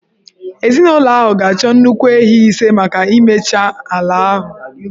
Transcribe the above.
Ezinụlọ ahụ ga-achọ nnukwu ehi ise maka imecha ala ahụ